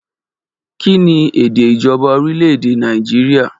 Kí ni èdè ìjọba orílẹ̀ èdè Nàìjíríà?